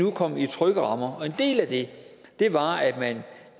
er kommet i trygge rammer en del af det var